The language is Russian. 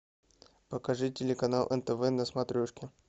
покажи телеканал нтв на смотрешке